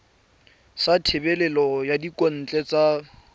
sa thebolo ya thekontle ya